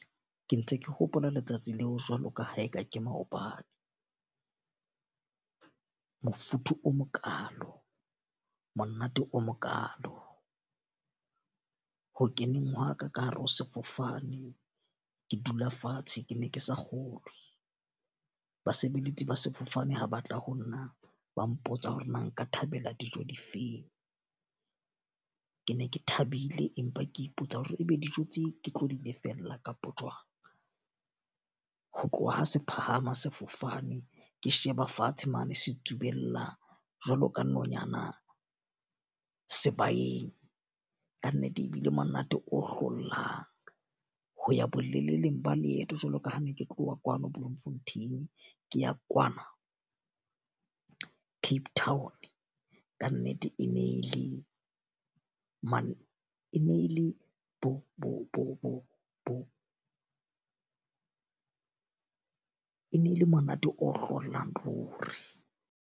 Ke ntse ke hopola letsatsi leo jwalo ka ha e ka ke maobane. Mofuthu o mokalo, monate o mokalo, ho keneng hwa ka ka hare ho sefofane ke dula fatshe ke ne ke sa kgolwe. Basebeletsi ba sefofane ha batla ho nna ba mpotsa hore na nka thabela dijo difeng. Ke ne ke thabile empa ke ipotsa hore e be dijo tse ke tlo di lefella kapo jwang. Ho tloha ha se phahama sefofane, ke sheba fatshe mane se tsubellwang jwalo ka nonyana sebakeng. Ka nnete e bile monate o hlollang ho ya boleleleng ba leeto jwalo ka ha ne ke tloha kwano Bloemfontein ke ya kwana Cape Town. Ka nnete e ne e le mane e nele bo ne e le monate o hlolang ruri.